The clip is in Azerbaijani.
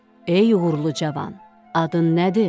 Ey uğurlu cavan, adın nədir?